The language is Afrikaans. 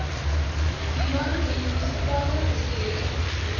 human munisipale bestuurder